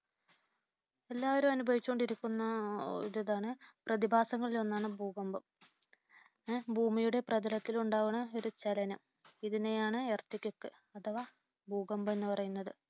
എല്ലാവരും അനുഭവിച്ചുകൊണ്ടിരിക്കുന്ന ഒരു ഇതാണ് പ്രതിഭാസങ്ങളിൽ ഒന്നാണ് ഭൂകമ്പം. ഭൂമിയുടെ പ്രതലത്തിൽ ഉണ്ടാകുന്ന ഒരു ചലനം. ഇതിനെയാണ് Earthquake അഥവാ ഭൂകമ്പം എന്ന് പറയുന്നത്